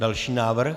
Další návrh.